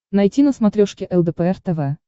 найти на смотрешке лдпр тв